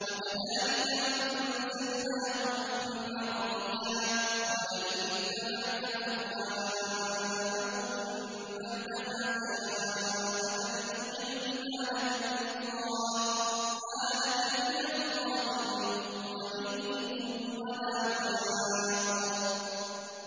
وَكَذَٰلِكَ أَنزَلْنَاهُ حُكْمًا عَرَبِيًّا ۚ وَلَئِنِ اتَّبَعْتَ أَهْوَاءَهُم بَعْدَمَا جَاءَكَ مِنَ الْعِلْمِ مَا لَكَ مِنَ اللَّهِ مِن وَلِيٍّ وَلَا وَاقٍ